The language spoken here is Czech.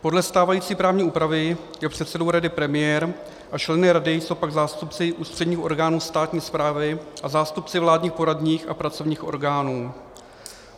Podle stávající právní úpravy je předsedou rady premiér a členy rady jsou pak zástupci ústředních orgánů státní správy a zástupci vládních poradních a pracovních orgánů.